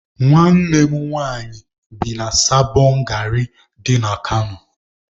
Nwanne m nwanyị bi na Sabọn gari dị na Kano